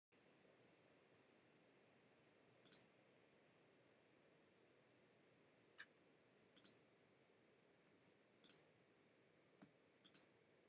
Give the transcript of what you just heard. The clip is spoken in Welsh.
ymhell cyn the daily show a the colber report fe wnaeth heck a johnson ddarlunio cyhoeddiad fyddai'n cyflwyno parodi ar y newyddion ac adrodd newyddion pan oedden nhw'n fyfyrwyr yn uw yn 1988